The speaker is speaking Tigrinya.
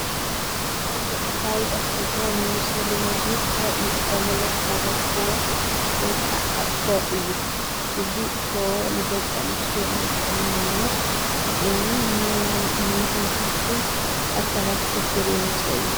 ኣብ ገጠር ከባቢታት ትግራይ ንመብሰሊ ምግቢ ካብ እንጥቀመሎም ሓደ ኩቦ (ኣኾር) እዩ። እዚ ኩቦ ንደቂ ኣንስትዮ ናይ ጥዕና ማለት ንዓይኒን ንመተንፈስቲ ኣካላትን ሽግር የምፅእ እዩ።